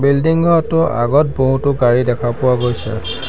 Building ঘৰটোৰ আগত বহুতো গাড়ী দেখা পোৱা গৈছে।